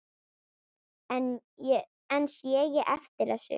En sé ég eftir þessu?